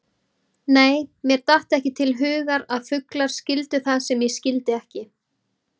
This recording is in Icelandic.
Nei, mér datt ekki til hugar að fuglar skildu það sem ég skildi ekki.